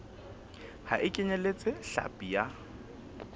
ha e kenyeletse hlapi ya